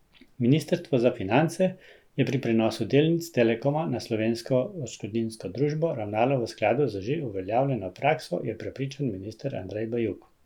Ministrstvo za finance je pri prenosu delnic Telekoma na Slovensko odškodninsko družbo ravnalo v skladu z že uveljavljeno prakso, je prepričan minister Andrej Bajuk.